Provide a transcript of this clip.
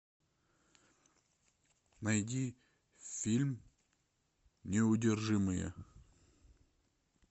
найди фильм неудержимые